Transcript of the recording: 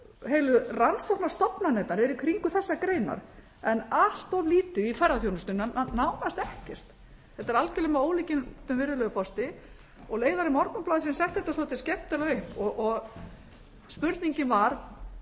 heilu rannsóknastofnanirnar eru í kringum þessar greinar en allt of lítið í ferðaþjónustuna nánast ekkert þetta er algjörlega með ólíkindum virðulegur forseti leiðari morgunblaðsins setti þetta svo skemmtilega upp og spurningin var